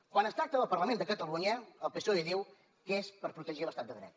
quan es tracta del parlament de catalunya el psoe diu que és per protegir l’estat de dret